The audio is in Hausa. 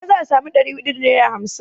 A ina ne za a samo maitan da hamsin?